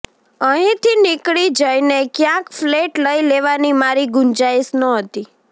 અહીંથી નીકળી જઈને ક્યાંક ફ્લૅટ લઈ લેવાની મારી ગુંજાઈશ નહોતી